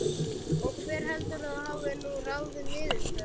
Og hver heldurðu að hafi nú ráðið niðurstöðunni?